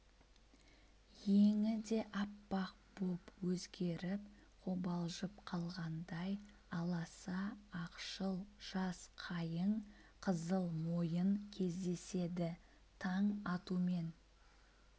өңі де аппақ боп өзгеріп қобалжып қалғандай аласа ақшыл жас қайың қызыл мойын кездеседі таң атуымен